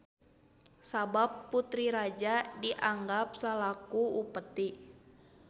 Sabab putri raja dianggap salaku upeti.